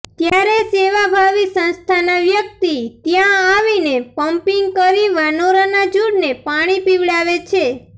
ત્યારે સેવાભાવી સંસ્થાના વ્યક્તિ ત્યાં આવીને પમ્પિંગ કરી વાનરોના ઝૂંડને પાણી પીવડાવે છે